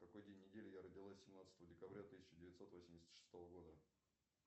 какой день недели я родилась семнадцатого декабря тысяча девятьсот восемьдесят шестого года